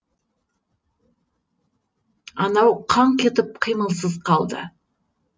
анау қаңқ етіп қимылсыз қалды